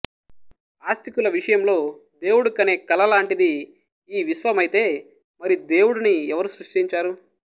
ఆస్తికుల విషయంలో దేవుడు కనే కల లాంటిది ఈ విశ్వమైతే మరి దేవుడిని ఎవరు సృష్టించారు